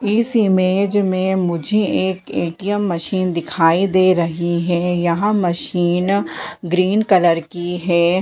इस इमेज में मुझे एक ए.टी.एम. मशीन दिखाई दे रही है यह मशीन ग्रीन कलर की है।